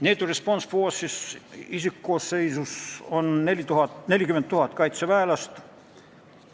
NATO Response Force'i isikkoosseisus on 40 000 kaitseväelast.